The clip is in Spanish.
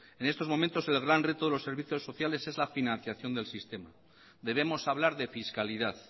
en estos momentos el gran reto de los servicios sociales es la financiación del sistema debemos hablar de fiscalidad